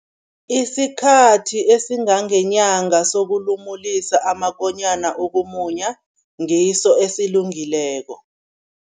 Isikhathi esingangenyanga sokulumulisa amakonyana ukumunya, ngiso esilungileko.